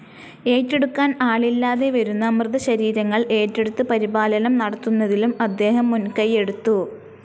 ഏറ്റെടുക്കാൻ ആളില്ലാതെ വരുന്ന മൃതശരീരങ്ങൾ ഏറ്റെടുത്ത് പരിപാലനം നടത്തുന്നതിലും അദ്ദേഹം മുൻകയ്യെടുത്തു.